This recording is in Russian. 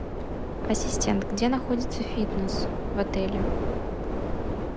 ассистент где находится фитнес в отеле